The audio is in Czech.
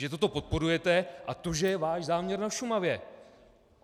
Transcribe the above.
Že toto podporujete a to že je váš záměr na Šumavě.